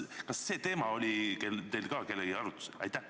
Kas see teema oli teil ka arutlusel?